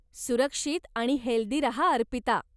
सुरक्षित आणि हेल्दी रहा, अर्पिता.